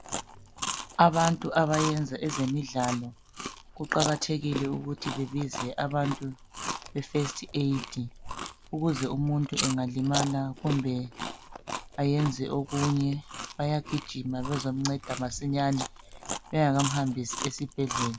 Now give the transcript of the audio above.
Abantu abayenza ezemidlalo kuqakathekile ukuthi bebize abantu be first aid ukuze umuntu angalimala kumbe ayenze okunye bayagijima bezomceda masinyane bengakahambisi esibhedlela.